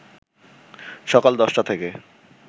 সকাল ১০টা থেকে